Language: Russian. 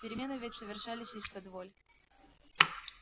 перемены ведь совершались исподволь